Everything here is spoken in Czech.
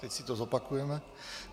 Teď si to zopakujeme.